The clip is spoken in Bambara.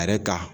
A yɛrɛ ka